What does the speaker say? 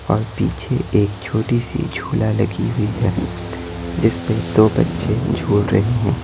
और पीछे एक छोटी सी झूला लगी हुई है जिस पे दो बच्चे झूल रहे हैं।